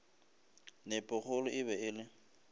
nepokgolo e be e le